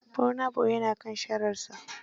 Burna boy ya na kan shararsa.